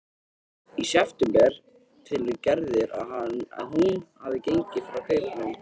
Í september telur Gerður að hún hafi gengið frá kaupunum.